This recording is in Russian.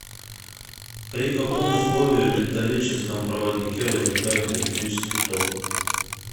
при каком условии в металлическом проводнике возникает электрический ток